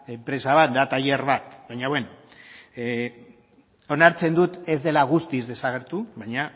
enpresa bat da tailer bat baino bueno onartzen dut ez dela guztiz desagertu baina